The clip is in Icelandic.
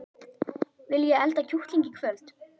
Viljiði elda kjúkling í kvöld?